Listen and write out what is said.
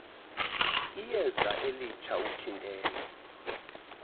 iyeza elitsha uthintela